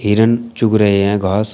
हिरन चुग रहे हैं घास--